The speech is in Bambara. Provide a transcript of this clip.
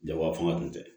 Jaba fanga tun tɛ